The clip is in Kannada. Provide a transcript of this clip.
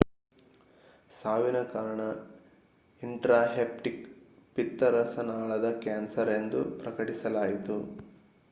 ಸಾವಿನ ಕಾರಣ ಇನ್ಟ್ರಾಹೆಪ್ಟಿಕ್ ಪಿತ್ತರಸನಾಳದ ಕ್ಯಾನ್ಸರ್ ಎಂದು ಪ್ರಕಟಿಸಲಾಯಿತು